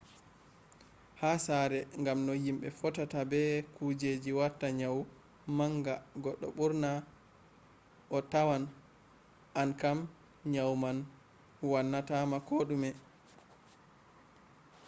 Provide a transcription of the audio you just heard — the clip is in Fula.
ha sare gam no himbe fottata be kujeji wata nyawu nanga goddo burna a tawan an kam nyawu man wannata ma kodume